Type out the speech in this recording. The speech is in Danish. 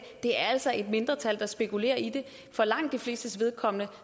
det altså er et mindretal der spekulerer i det for langt de flestes vedkommende